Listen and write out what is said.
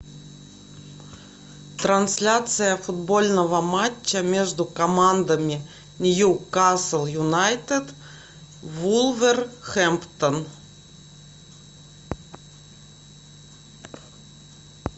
трансляция футбольного матча между командами ньюкасл юнайтед вулверхэмптон